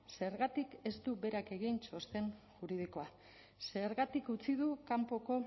zergatik ez du berak egin txosten juridikoa zergatik utzi du kanpoko